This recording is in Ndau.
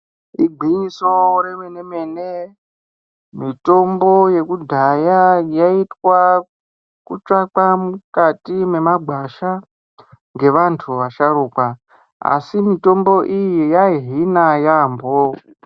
Igwinyiso remenemene mitombo yekudhaya yaitwa kutsvakwa mukati memagwasha ngevantu vasharukwa asi mitombo iyi yaihina yampho.